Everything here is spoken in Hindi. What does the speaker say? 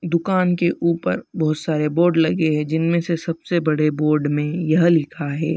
दुकान के ऊपर बहोत सारे बोर्ड लगे हैं जिनमें से सबसे बड़े बोर्ड में यह लिखा है।